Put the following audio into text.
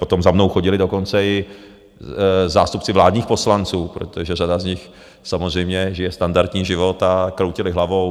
Potom za mnou chodili dokonce i zástupci vládních poslanců, protože řada z nich samozřejmě žije standardní život, a kroutili hlavou.